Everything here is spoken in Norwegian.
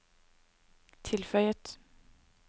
tilføyet